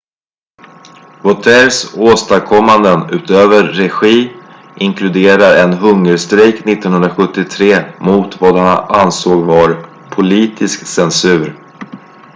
vautiers åstadkommanden utöver regi inkluderar en hungerstrejk 1973 mot vad han ansåg var politisk censur